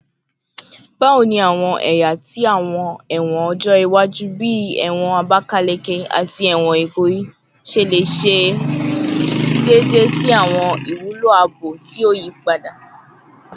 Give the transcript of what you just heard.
Bawo ni awọn ẹya ti awọn ẹwọn ọjọ iwaju, bii ẹwọn Abakaleke ati ẹwọn Ikoyi, ṣe le ṣe deede si awọn iwulo aabo ti o yipada?